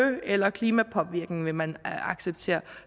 eller klimapåvirkning vil man acceptere